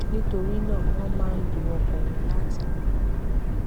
nítorí náà wọn máa ń lo ọkọ wọn láti rí owó